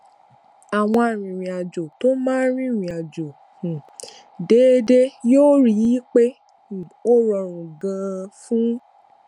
àwọn arìnrìnàjò tó máa ń rìnrìn àjò um déédéé yóò rí i pé um ó rọrùn ganan fún